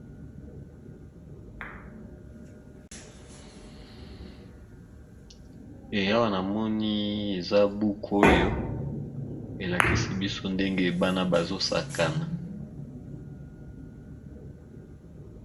Awa na moni eza buku oy,o elakisi biso ndenge ebana bazosakana.